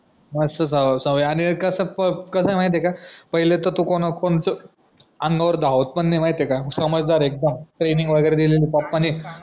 मस्त सवय आणि कास कास माहितीये का पहिले तर तो कोणावर कोणतं अंगावर धावत पण नाय माहित ए का समजदार ए एकदम ट्रेंनिंग वगैरे दिलीय एकदम पप्पानी